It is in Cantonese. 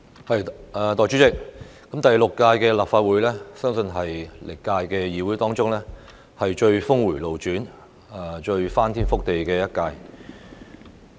代理主席，第六屆立法會相信是歷來最峰迴路轉、最翻天覆地的一屆。